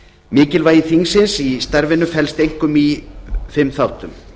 mikilvægi þingsins í starfinu felst einkum í fimm þáttum